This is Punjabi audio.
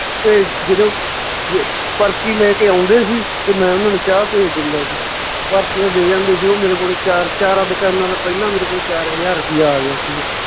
ਤੇ ਜਦੋਂ ਜ~ ਪਰਚੀ ਲੈ ਕੇ ਆਉਂਦੇ ਸੀ ਤੇ ਮੈਂ ਓਨਾਂ ਨੂੰ ਚਾਹ ਭੇਜ ਦਿੰਦਾ ਸੀ, ਪਰਚੀਆਂ ਦੇ ਜਾਂਦੇ ਸੀ ਓਹ ਮੇਰੇ ਕੋਲੇ ਚਾਰ ਚਾਰਾਂ ਦੁਕਾਨਾਂ ਦਾ ਪਹਿਲਾਂ ਮੇਰੇ ਕੋਲੇ ਚਾਰ ਹਜਾਰ ਰੁਪਈਆ ਆ ਗਿਆ ਸੀਗਾ।